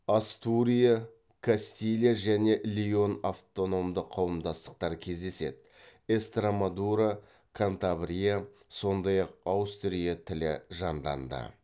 астурия кастилия және леон автономды қауымдастықтар кездеседі эстремадура кантабрия сондай ақ астурий тілі жанданды